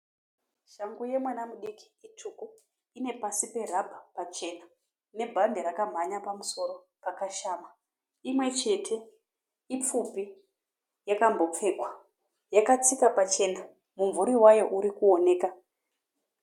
Shangu yemwana mudiki itsvuku. Ine pasi perabha pachena nebhande rakamhanya pamusoro pakashama. Imwe chete. Ipfupi yakambofekwa. Yakatsika pachena. Mumvuri wayo uri kuoneka.